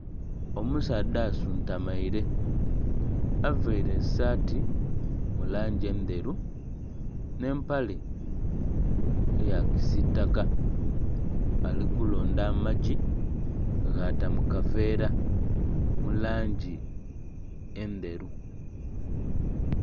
Omusaadha asuntumaire avaire esaati mulangi endheru n'empale eya kisitaka ali kulonda amagi ghata mukaveera mulangi endheru.